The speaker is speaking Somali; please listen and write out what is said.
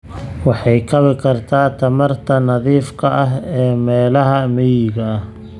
Waxay kabi kartaa tamarta nadiifka ah ee meelaha miyiga ah.